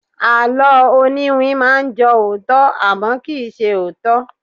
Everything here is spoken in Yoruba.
Àló oniwin máa ń jọ òótọ́, àmọ́, kì í ṣe òótọ́.